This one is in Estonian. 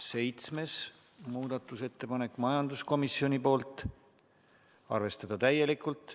Seitsmes muudatusettepanek, majanduskomisjonilt, seisukoht: arvestada täielikult.